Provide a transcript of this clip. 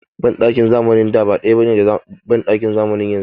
Banɗakin zamanin da ba ɗaya ne da banɗakin zamanin yanzu ba.